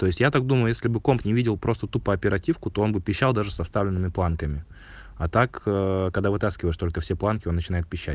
то есть я так думаю если бы комп не видел просто тупо оперативку то он бы писал даже со стальными планками а так когда вытаскиваешь только все планки начинай пищать